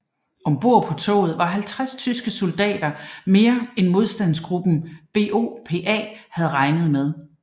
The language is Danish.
Om bord på toget var 50 tyske soldater mere end modstandsgruppen BOPA havde regnet med